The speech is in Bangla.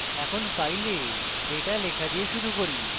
এখন file data লেখা দিয়ে শুরু করি